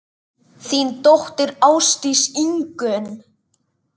Þín dóttir, Ásdís Ingunn.